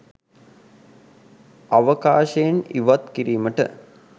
අවකාශයෙන් ඉවත් කිරීමට